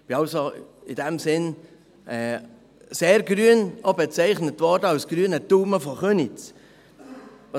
Ich bin also in diesem Sinn sehr grün und auch als «grüner Daumen von Köniz» bezeichnet worden.